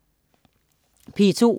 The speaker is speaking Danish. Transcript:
P2: